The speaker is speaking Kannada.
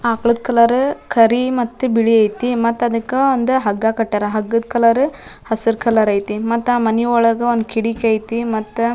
ಆಕ್ಳುದ್ ಕಲರ ಕರಿ ಮತ್ತೆ ಬಿಳಿ ಐತಿ ಮತ್ತದಕ್ಕಾ ಒಂದು ಹಗ್ಗ ಕಟ್ಯರ ಹಗ್ಗದ್ ಕಲರ್ ಹಸರ್ ಕಲರ್ ಐತಿ ಮತ್ತಾ ಮನನಿ ಒಳಗ ಒಂದ್ ಕಿಡಿಕಿ ಐತಿ ಮತ್ತ --